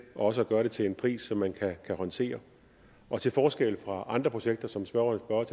og også at gøre det til en pris som man kan håndtere og til forskel fra andre projekter som spørgeren